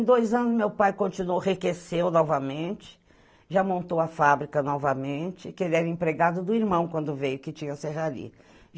Em dois anos meu pai continuou, enriqueceu novamente, já montou a fábrica novamente, que ele era empregado do irmão quando veio, que tinha Serraria